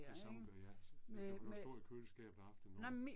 Det samme gør jeg altså. Man kan lade det stå i køleskabet aftenen over